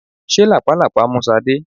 Ṣé làpálàpá mú Sade?